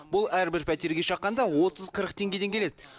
бұл әрбір пәтерге шаққанда отыз қырық теңгеден келеді